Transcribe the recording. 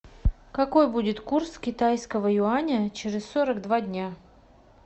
какой будет курс китайского юаня через сорок два дня